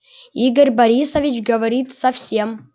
игорь борисович говорит совсем